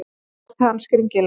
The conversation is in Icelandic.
Svo brosti hann skringilega.